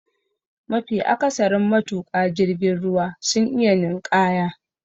Mafi akasarin matuka jirgin ruwa sun iya ninƙaya.